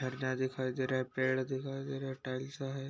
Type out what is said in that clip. झरना दिखाई दे रहा है पेड़ दिखाई दे रहे हैं टाइल्स लगा है।